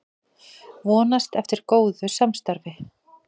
Vonast eftir góðu samstarfi